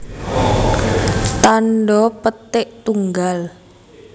Tandha petik tunggal